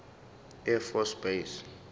air force base